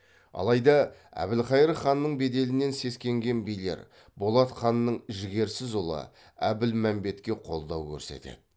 алайда әбілқайыр ханның беделінен сескенген билер болат ханның жігерсіз ұлы әбілмәмбетке қолдау көрсетеді